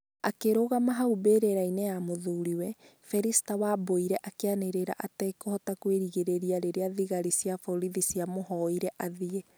Akĩrũgama hau mbĩrĩra-inĩ ya mũthuriwe, Felister Wabwire akĩanĩrĩra atekũhota kwĩgirĩrĩria rĩrĩa thigari cia borithi ciamũhoire athiĩ.